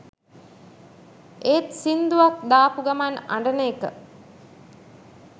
ඒත් සිංදුවක් දාපු ගමන් අඬන එක